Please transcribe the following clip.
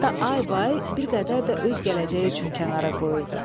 hətta aybay bir qədər də öz gələcəyi üçün kənara qoyurdu.